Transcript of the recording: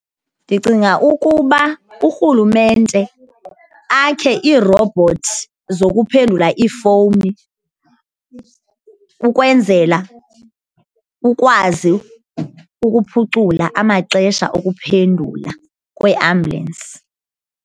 Ndicinga ukuba urhulumente akhe iirobhothsi zokuphendula iifowuni ukwenzela ukwazi ukuphucula amaxesha okuphendula kweambyulensi.